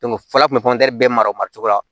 fɔlɔ kun bɛ bɛɛ mara cogo la